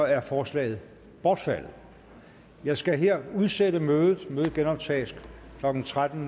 er forslaget bortfaldet jeg skal her udsætte mødet mødet genoptages klokken tretten